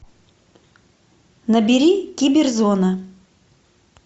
набери киберзона